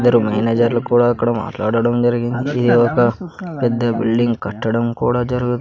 ఇద్దరూ మేనేజర్లు కూడా అక్కడ మాట్లాడడం జరిగింది ఇది ఒక పెద్ద బిల్డింగ్ కట్టడం కుడా జరుగు--